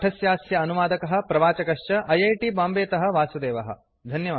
पाठस्यास्य अनुवादकः प्रवाचकश्च ऐ ऐ टी बाम्बेतः वासुदेवः